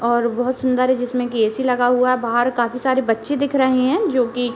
और बहोत सुन्दर है जिसमें कि एसी लगा हुआ है। बाहर काफी सारे बच्चे दिख रहे हैं जोकि --